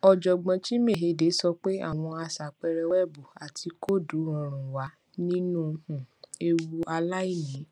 ọjọgbọn chinmayhegde sọ pé àwọn aṣàpẹẹrẹ wẹẹbù àti kóòdù rọrùn wà nínú um ewu aláìní